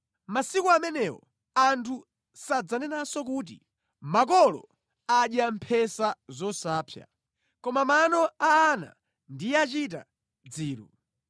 “Mʼmasiku amenewo anthu sadzanenanso kuti, “Makolo adya mphesa zosapsa, koma mano a ana ndiye achita dziru.